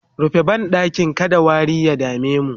rufe banɗakin kada wari ya damemu!